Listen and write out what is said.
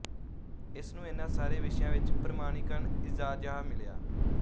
ਇਸਨੂੰ ਇਹਨਾਂ ਸਾਰੇ ਵਿਸ਼ਿਆਂ ਵਿੱਚ ਪ੍ਰਮਾਣੀਕਰਨ ਇਜਾਜ਼ਾਹ ਮਿਲਿਆ